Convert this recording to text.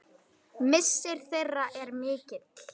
Missir þeirra er mikill.